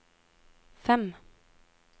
fem